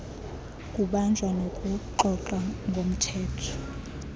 kubanjwa nokuxoxa ngomthetho